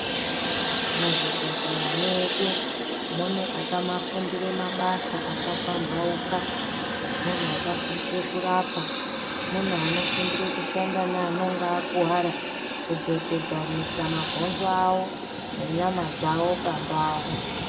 Muzvibhedhleya medu mune akafundire mabasa akapambauka munhu akafundire kurapa munhu anofundira kushanda noanonge akuwara kudzokesanisa mabhonzo awo nenyama dzawo pandawu.